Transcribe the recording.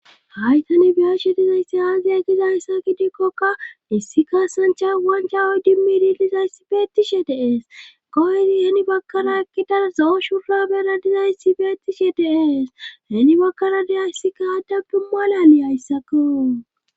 haytani biyeshe dizayssi aaziya gizayssa gidikkoka issi kaasancha wanchawo dimmi dilizayssi beetishe deees koysi heni bakkara ekkida zo7o shurra bera dizayssibeetishe deees heni bakkara deya issikaaddabdu malali hayssako